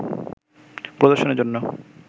প্রদর্শনের জন্য